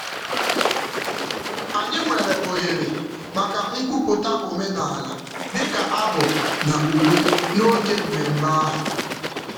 Anyị nyere ohere maka nkwupụta omenaala dị ka abụ na uwe n'oge mmemme ahụ.